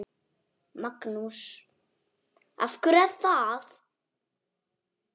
Magnús: Af hverju er það?